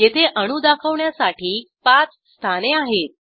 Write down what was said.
येथे अणू दाखवण्यासाठी पाच स्थाने आहेत